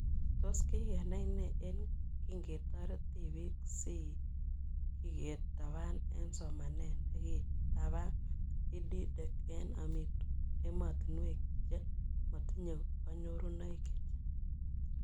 Tos kikenai nee ye kingetaret tipik ce kiketapan eng' somanet nekitapa EdTech eng' ematinwek che matinye kanyorunoik chechang